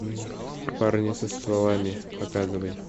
парни со стволами показывай